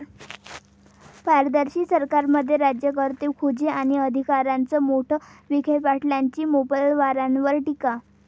पारदर्शी सरकारमध्ये राज्यकर्ते खुजे आणि अधिकारीच मोठे', विखेपाटीलांची मोपलवारांवर टीका